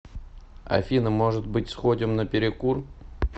афина может быть сходим на перекур